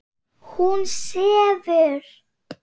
Hún sefur.